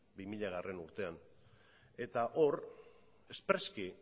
bi milagarrena urtean eta hor espreski